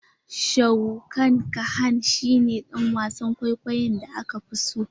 Sharukh khan shi ne dan wasan kwaikwayon da ka fi so?